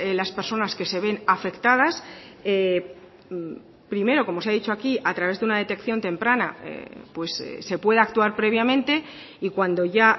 las personas que se ven afectadas primero como se ha dicho aquí a través de una detección temprana se puede actuar previamente y cuando ya